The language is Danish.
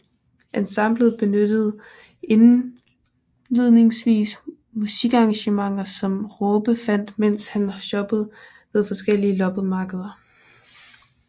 Ensemblet benyttede indledningsvis musikarrangementer som Raabe fandt mens han shoppede ved forskellige loppemarkeder